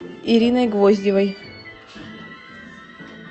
ириной гвоздевой